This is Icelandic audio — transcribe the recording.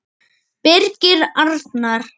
Birgir Arnar.